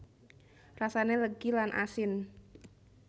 Rasane legi lan asin